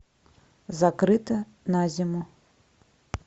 закрыто на зиму